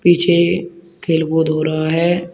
पीछे खेल कूद हो रहा है।